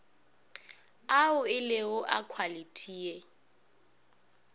ao elego a khwalithi ye